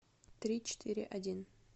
три четыре один